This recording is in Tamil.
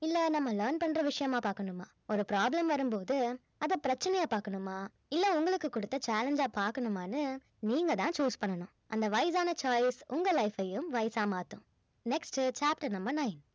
இல்ல நம்ம learn பண்ற விஷயமா பாக்கணுமா ஒரு problem வரும் போது அத பிரச்சனையா பார்க்கணுமா இல்ல உங்களுக்கு குடுத்த challenge ஆ பாக்கணுமான்னு நீங்க தான் choose பண்ணனும் அந்த wise ஆன choice உங்க life யும் wise ஆ மாத்தும் next chapter number nine